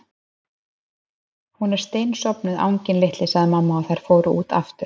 Hún er steinsofnuð, anginn litli sagði mamma og þær fóru út aftur.